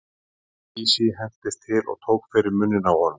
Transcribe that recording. Herra Takashi hentist til og tók fyrir munninn á honum.